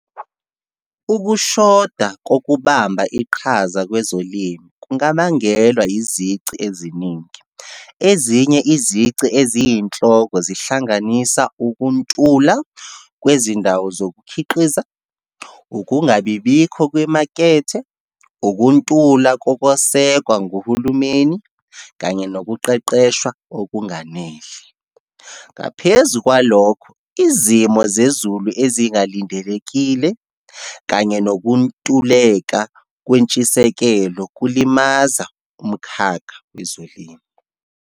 Ukushoda kokubamba iqhaza kwezolimo, kungabangelwa izici eziningi. Ezinye izici eziyinhloko zihlanganisa, ukuntula kwezindawo zokukhiqiza, ukungabibikho kwemakethe, ukuntula kokwasekwa nguhulumeni kanye nokuqeqeshwa okunganele. Ngaphezu kwalokho, izimo zezulu ezingalindelekile, kanye nokuntuleka kwentshisekelo kulimaza umkhakha wezolimo.